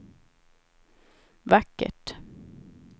vackert